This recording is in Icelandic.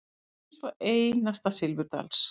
Eins einasta silfurdals.